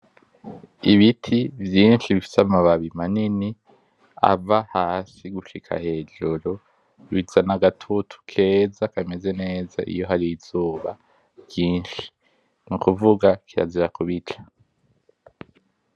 Ibiti vyinshi bifise amababi manini ava hasi gushika hejuru bizana agatutu keza kameze neza iyo hari izuba ryinshi nukuvuga kirazira kubica.